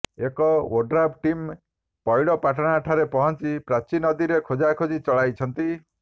ଏକ ODRAF team ପଇଡ଼ପାଟଣାଠାରେ ପହଞ୍ଚି ପ୍ରାଚୀ ନଦୀରେ ଖୋଜାଖୋଜି ଚଳାଇଛନ୍ତି